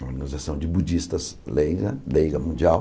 Uma organização de budistas leiga, leiga mundial.